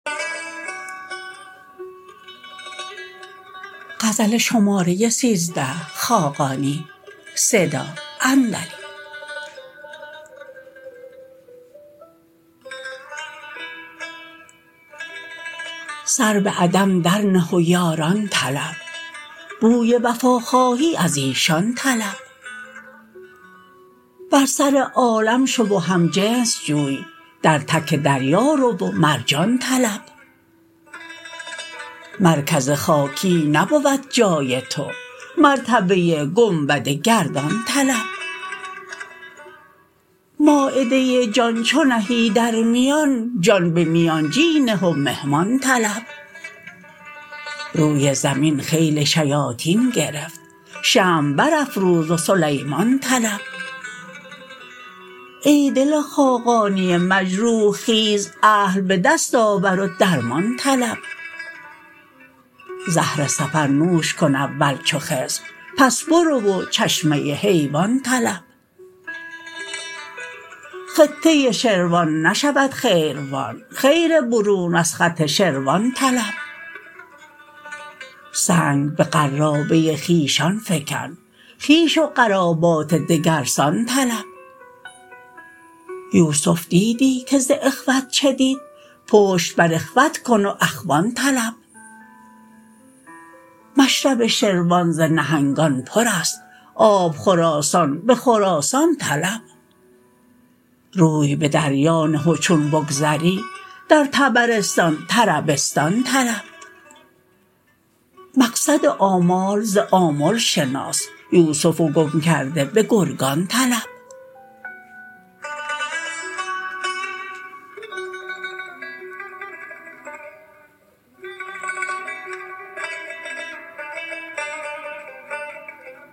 سر به عدم درنه و یاران طلب بوی وفا خواهی ازیشان طلب بر سر عالم شو و هم جنس جوی در تک دریا رو و مرجان طلب مرکز خاکی نبود جای تو مرتبه گنبد گردان طلب مایده جان چو نهی در میان جان به میانجی نه و مهمان طلب روی زمین خیل شیاطین گرفت شمع برافروز و سلیمان طلب ای دل خاقانی مجروح خیز اهل به دست آور و درمان طلب زهر سفر نوش کن اول چو خضر پس برو و چشمه حیوان طلب خطه شروان نشود خیروان خیر برون از خط شروان طلب سنگ به قرابه خویشان فکن خویش و قرابات دگرسان طلب یوسف دیدی که ز اخوة چه دید پشت بر اخوة کن و اخوان طلب مشرب شروان ز نهنگان پر است آبخور آسان به خراسان طلب روی به دریا نه و چون بگذری در طبرستان طربستان طلب مقصد آمال ز آمل شناس یوسف گم کرده به گرگان طلب